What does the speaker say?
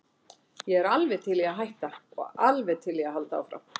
Ég er alveg til í að hætta og alveg til í að halda áfram.